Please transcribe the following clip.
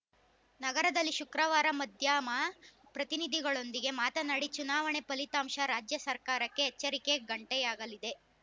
ನಗರದಲ್ಲಿ ಶುಕ್ರವಾರ ಮಾಧ್ಯಮ ಪ್ರತಿನಿಧಿಗಳೊಂದಿಗೆ ಮಾತನಾಡಿ ಚುನಾವಣೆ ಫಲಿತಾಂಶ ರಾಜ್ಯ ಸರ್ಕಾರಕ್ಕೆ ಎಚ್ಚರಿಕೆಯ ಗಂಟೆಯಾಗಲಿದೆ